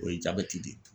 O ye jabɛti de ye